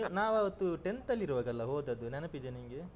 ನಾವು ಆವತ್ತು tenth ಅಲ್ಲಿರುವಾಗಲ್ಲ ಹೋದದ್ದು ನೆನಪಿದ್ಯಾ ನಿನ್ಗೆ?